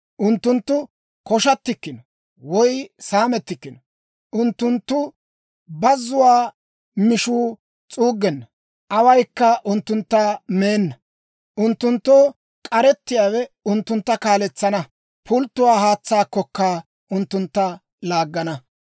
Unttunttu koshattikkino woy saamettikkino. Unttunttu bazzuwaa mishuu s'uuggenna; awaykka unttuntta meenna. Unttunttoo k'aretsiyaawe unttuntta kaaletsana; pultto haatsaakkokka unttuntta laaggana.